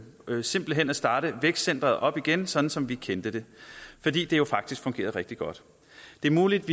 smidigt simpelt hen at starte vækstcenteret op igen sådan som vi kendte det fordi det jo faktisk fungerede rigtig godt det er muligt